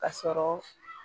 Ka sɔrɔ